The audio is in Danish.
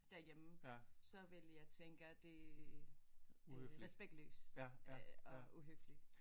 Derhjemme så ville jeg tænke at det øh respektløst øh og uhøfligt